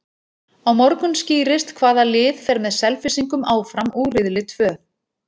Á morgun skýrist hvaða lið fer með Selfyssingum áfram úr riðli tvö.